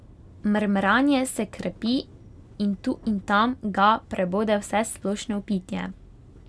Mrmranje se krepi in tu in tam ga prebode vsesplošno vpitje.